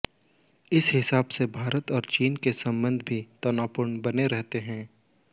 इस हिसाब से भारत और चीन के संबंध भी तनावपूर्ण बने रहते हैं